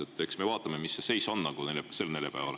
Eks me siis vaatame, mis see seis on siin neljapäeval.